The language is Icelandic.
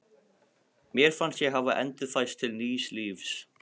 Mér fannst ég hafa endurfæðst til nýs lífs.